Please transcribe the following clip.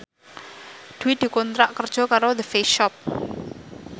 Dwi dikontrak kerja karo The Face Shop